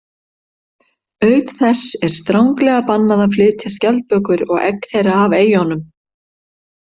Auk þess er stranglega bannað að flytja skjaldbökur og egg þeirra af eyjunum.